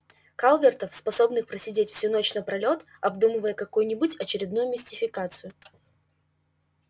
калвертов способных просидеть всю ночь напролёт обдумывая какую-нибудь очередную мистификацию